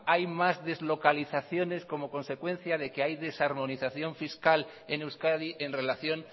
hay más deslocalizaciones como consecuencia de que hay desarmonización fiscal en euskadi en relación